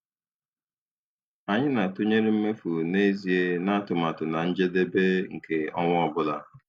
Anyị na-atụnyere mmefu n'ezie na atụmatụ na njedebe nke ọnwa ọ bụla.